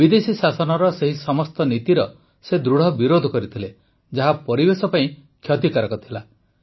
ବିଦେଶୀ ଶାସନର ସେହି ସମସ୍ତ ନୀତିର ସେ ଦୃଢ଼ ବିରୋଧ କରିଥିଲେ ଯାହା ପରିବେଶ ପାଇଁ କ୍ଷତିକାରକ ଥିଲା